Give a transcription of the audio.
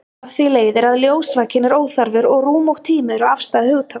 Af því leiðir að ljósvakinn er óþarfur og rúm og tími eru afstæð hugtök.